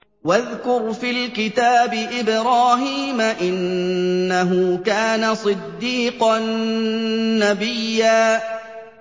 وَاذْكُرْ فِي الْكِتَابِ إِبْرَاهِيمَ ۚ إِنَّهُ كَانَ صِدِّيقًا نَّبِيًّا